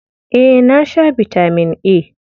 Eh, na sha bitamin A.